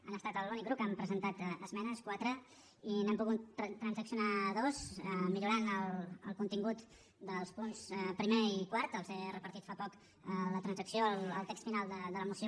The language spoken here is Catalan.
han estat l’únic grup que hi han presentat esmenes quatre i n’hem pogut transaccionar dues i millorar el contingut dels punts primer i quart els he repartit fa poc la transacció el text final de la moció